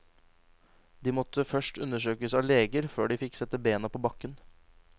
De måtte først undersøkes av leger før de fikk sette bena på bakken.